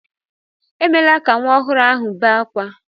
Emela ka nwa ọhụrụ ahụ bé akwa!